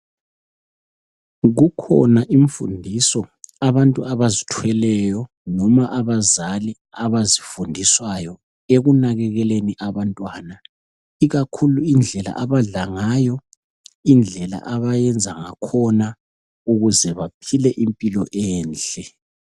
Ikhona imfundiso abantu abazithweleyo noma abazali abazifundiswayo ekunakekeleni abantwana, ikakhulu indlela abadla ngayo, indlela abayenza ngakhona ukuze baphile impilo enhle.